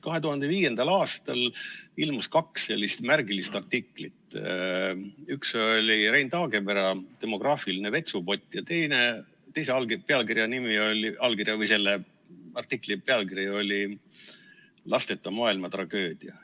2005. aastal ilmus kaks sellist märgilist artiklit, üks oli Rein Taagepera "Demograafiline vetsupott" ja teise artikli pealkiri oli "Lasteta maailma tragöödia".